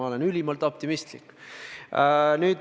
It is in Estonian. Ma olen ülimalt optimistlik.